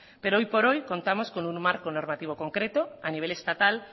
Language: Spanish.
pero hoy por hoy contamos con un marco normativo concreto a nivel estatal